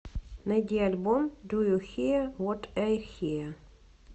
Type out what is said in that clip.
найди альбом ду ю хиа вот ай хиа